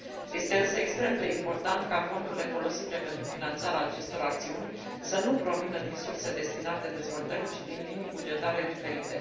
Este însă extrem de important ca fondurile folosite pentru finanțarea acestor acțiuni să nu provină din surse destinate dezvoltării, ci din linii bugetare diferite.